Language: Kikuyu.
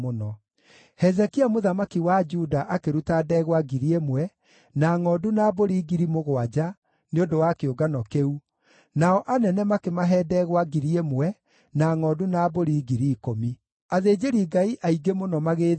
Hezekia mũthamaki wa Juda akĩruta ndegwa 1,000 na ngʼondu na mbũri 7,000 nĩ ũndũ wa kĩũngano kĩu, nao anene makĩmahe ndegwa 1,000 na ngʼondu na mbũri 10,000. Athĩnjĩri-Ngai aingĩ mũno magĩĩtheria.